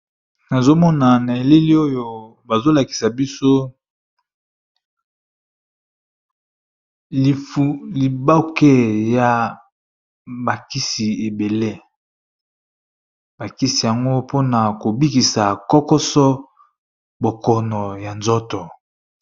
nazomona na eleli oyo bazolakisa biso liboke ya bakisi ebele bakisi yango mpona kobikisa kokoso bokono ya nzoto